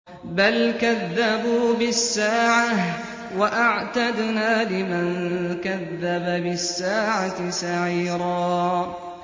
بَلْ كَذَّبُوا بِالسَّاعَةِ ۖ وَأَعْتَدْنَا لِمَن كَذَّبَ بِالسَّاعَةِ سَعِيرًا